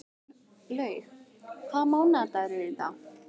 Gæflaug, hvaða mánaðardagur er í dag?